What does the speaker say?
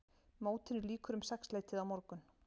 Mótinu lýkur um sexleytið á morgun